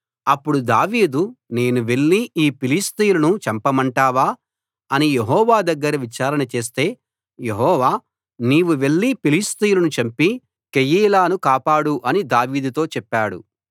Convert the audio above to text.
అప్పుడు దావీదు నేను వెళ్లి ఈ ఫిలిష్తీయులను చంపమంటావా అని యెహోవా దగ్గర విచారణ చేస్తే యెహోవా నీవు వెళ్లి ఫిలిష్తీయులను చంపి కెయీలాను కాపాడు అని దావీదుతో చెప్పాడు